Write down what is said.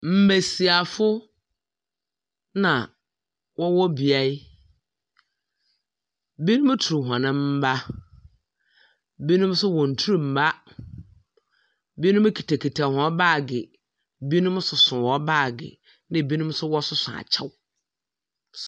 Mbesiafo na wɔwɔ beae. Binom tur hɔn mba. Binom nso wɔntur mba. Binom kitakita hɔn baage. Binom soso hɔn baage, na binom nso wɔsoso akyɛw.